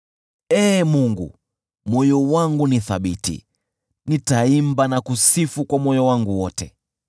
Ee Mungu, moyo wangu ni thabiti; nitaimba na kusifu kwa moyo wangu wote.